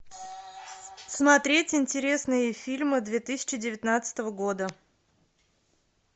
смотреть интересные фильмы две тысячи девятнадцатого года